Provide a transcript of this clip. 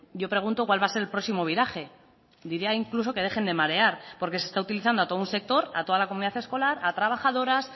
yo pregunto cuál va a ser el próximo viraje diría incluso que dejen de marear porque se está utilizando a todo un sector a toda la comunidad escolar a trabajadoras